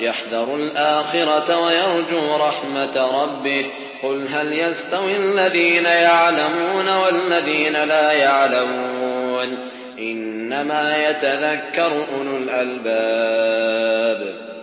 يَحْذَرُ الْآخِرَةَ وَيَرْجُو رَحْمَةَ رَبِّهِ ۗ قُلْ هَلْ يَسْتَوِي الَّذِينَ يَعْلَمُونَ وَالَّذِينَ لَا يَعْلَمُونَ ۗ إِنَّمَا يَتَذَكَّرُ أُولُو الْأَلْبَابِ